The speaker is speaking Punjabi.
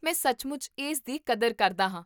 ਮੈਂ ਸੱਚਮੁੱਚ ਇਸ ਦੀ ਕਦਰ ਕਰਦਾ ਹਾਂ